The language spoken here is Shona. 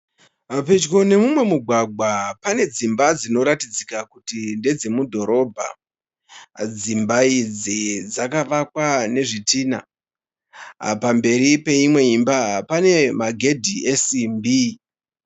Pedyo nemumwe mugwagwa pane dzimba dzinoratidzika kuti ndedze mudhorobha. Dzimba idzi dzakavakwa nezvitinha. Pamberi peimwe imba pane magedhi esimbi.